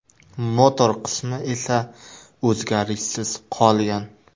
Motor qismi esa o‘zgarishsiz qolgan.